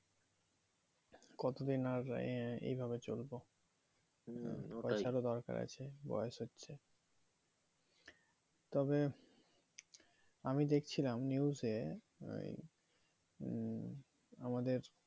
কতদিন আর এই এই ভাবে চলবো টাকার ও দরকার আছে বয়েস হচ্ছে তবে আমি দেখছিলাম news এ ওই মম আমাদের